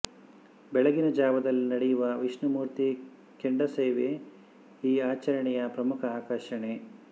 ಬೆಳಗಿನ ಜಾವದಲ್ಲಿ ನಡೆಯುವ ವಿಷ್ಣುಮೂರ್ತಿ ಕೆಂಡಸೇವೆ ಈ ಆಚರಣೆಯ ಪ್ರಮುಖ ಆಕರ್ಷಣೆ